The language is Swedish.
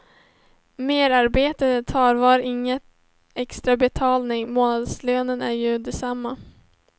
Merarbetet tarvar ingen extra betalning, månadslönen är ju densamma.